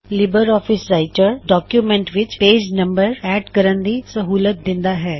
Libre office Writer document ਵਿੱਚ page numbers add ਕਰਣ ਦੀ ਸਹੂਲਤ ਦਿੰਦਾ ਹੈ